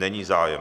Není zájem.